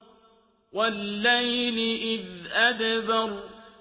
وَاللَّيْلِ إِذْ أَدْبَرَ